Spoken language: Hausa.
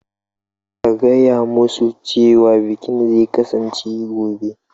Ka gaya musu cewa bikin zai kasance gobe.